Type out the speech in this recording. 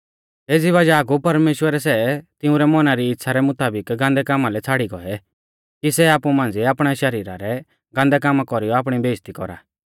एज़ी वज़ाह कु परमेश्‍वरै सै तिंउरै मौना री इच़्छ़ा रै मुताबिक गान्दै कामा लै छ़ाड़ी गौऐ कि सै आपु मांझ़िऐ आपणै शरीरा रै गांदै कामा कौरीयौ आपणी बेइज़्ज़ती कौरा